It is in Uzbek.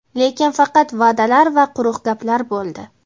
Lekin faqat va’dalar va quruq gaplar bo‘ldi.